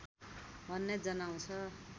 भन्ने जनाउँछ